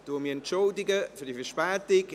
Ich entschuldige mich für diese Verspätung.